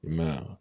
I ma ye wa